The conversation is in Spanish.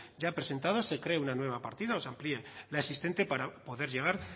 ya presentados se cree una nueva partida o se amplíe la existente para poder llegar